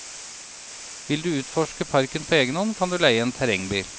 Vil du utforske parken på egenhånd kan du leie en terrengbil.